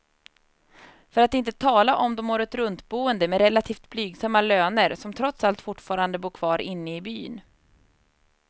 För att inte tala om de åretruntboende med relativt blygsamma löner, som trots allt fortfarande bor kvar inne i byn.